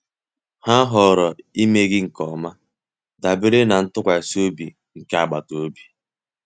Ha họọrọ imeghe nke ọma, dabere na ntụkwasị obi nke agbata obi.